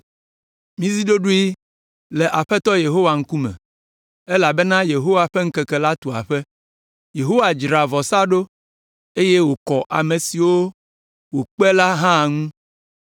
Mizi ɖoɖoe le Aƒetɔ Yehowa ŋkume, elabena Yehowa ƒe ŋkeke la tu aƒe. Yehowa dzra vɔsa ɖo, eye wòkɔ ame siwo wòkpe la hã ŋuti.